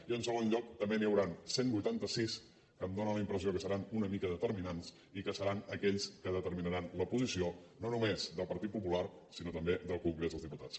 i en segon lloc també n’hi hauran cent i vuitanta sis que em dóna la impressió que seran una mica determinants i que seran aquells que determinaran la posició no només del partit popular sinó també del congrés dels diputats